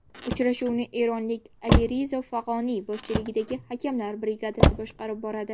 Uchrashuvni eronlik Alirizo Fag‘oniy boshchiligidagi hakamlar brigadasi boshqarib boradi.